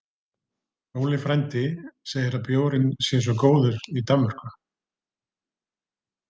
Óli frændi segir að bjórinn sé svo góður í Danmörku